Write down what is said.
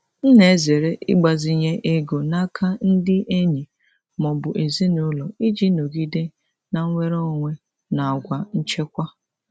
M na-ezere ịgbazinye ego n'aka ndị enyi ma ọ bụ ezinụlọ iji nọgide na-enwere onwe na àgwà nchekwa.